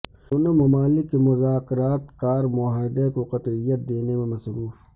دونوں ممالک کے مذاکرات کار معاہدہ کو قطعیت دینے میں مصروف